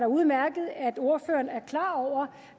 udmærket er klar over